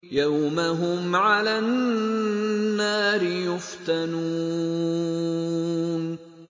يَوْمَ هُمْ عَلَى النَّارِ يُفْتَنُونَ